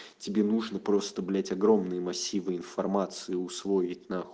тебе нужно просто блять огромные массивы информации усвоить